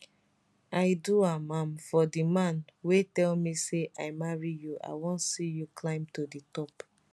i do am am for di man wey tell me say i marry you i wan see you climb to di top